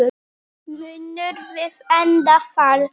Munum við enda þar?